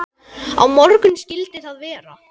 Á morgun skyldi það vera.